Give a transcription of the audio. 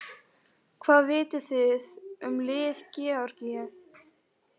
Hvað vitið þið um lið Georgíu?